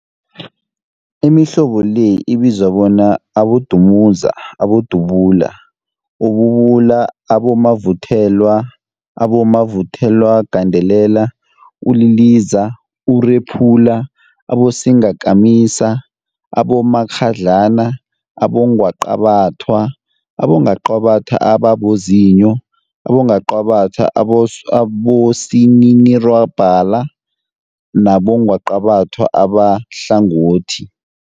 Imihlobo le ibizwa bona, abodumuza, abodubula, ububula, abomavuthelwa, abomavuthelwagandelela, uliliza, urephula, abosingakamisa, abomakghadlana, abongwaqabathwa, abongwaqabathwa ababozinyo, abongwaqabathwa abosininirhwalabha nabongwaqabatha abahlangothi.